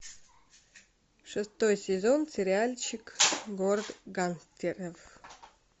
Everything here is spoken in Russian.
шестой сезон сериальчик город гангстеров